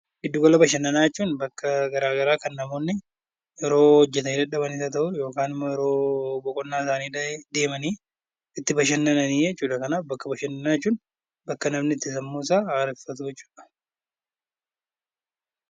Giddu gala bashannanaa jechuun bakka garagaraa kan namoonni yeroo dadhaban yookiin yeroo boqonnaa isaanii deemanii itti bashannanan jechuudha. Kanaaf bakka bashannanaa jechuun bakka namni sammuu isaa itti haareffatu jechuudha.